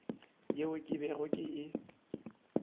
yeo ke bego ke e